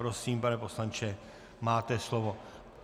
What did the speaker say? Prosím, pane poslanče, máte slovo.